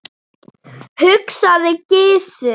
hugsaði Gizur.